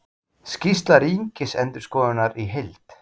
Skýrsla ríkisendurskoðunar í heild